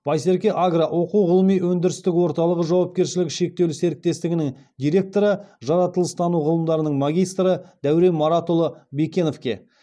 байсерке агро оқу ғылыми өндірістік орталығы жауапкершілігі шектеулі серіктестігінің директоры жаратылыстану ғылымдарының магистрі дәурен маратұлы бекеновке